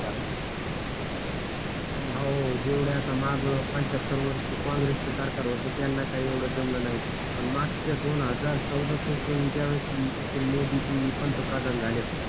हाओ जेवढं आता माग पंच्यात्तर वर्ष काँग्रेस च सरकार होत त्यांला काही एवढं जमलं नाही पण मागच्या दोन हजार चौदाह पासून ज्यावेळेस पासून मोदीजी पंतप्रधान झालेत